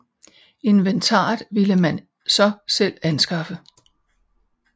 Inventaret ville man så selv anskaffe